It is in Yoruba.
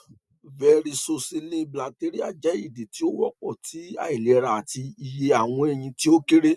varicocele bilateral jẹ idi ti o wọpọ ti ailera ati iye awọn ẹyin ti o kere